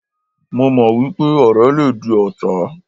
Mo mọ̀ wípé ọ̀rẹ́ le di ọ̀tá.